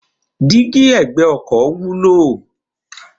Dígí ẹ̀gbẹ́ ọkọ̀ wúlò.